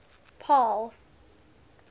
paarl